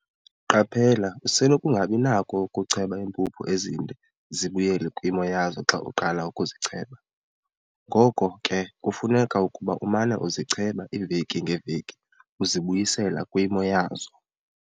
Qaphela- Usenokungabi nakho kucheba impuphu ezinde zibuyele kwimo yazo xa uqala ukuzicheba. Ngoko ke kufuneka ukuba umana uzicheba iiveki ngeeveki uzibuyisela kwimo yazo.